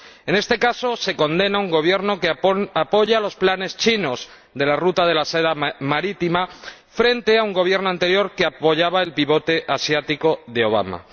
En este caso, se condena un Gobierno que apoya los planes chinos de la Ruta de la Seda Marítima frente a un Gobierno anterior que apoyaba el pivote asiático de Obama.